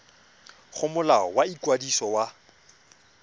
go molao wa ikwadiso wa